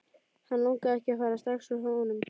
Hann langaði ekki að fara strax úr honum.